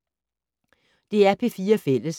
DR P4 Fælles